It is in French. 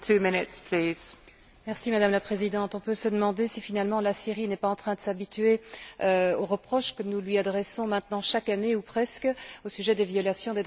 Madame la Présidente, on peut se demander si, finalement, la Syrie n'est pas en train de s'habituer aux reproches que nous lui adressons chaque année, ou presque, au sujet des violations des droits de l'homme sur son territoire.